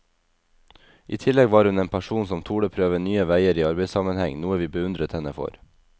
I tillegg var hun en person som torde prøve nye veier i arbeidssammenheng, noe vi beundret henne for.